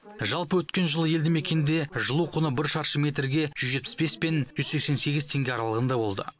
жалпы өткен жылы елді мекенде жылу құны бір шаршы метрге жүз жетпіс бес пен жүз сексен сегіз теңге аралығында болды